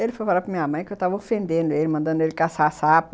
Ele foi falar para minha mãe que eu estava ofendendo ele, mandando ele caçar sapo.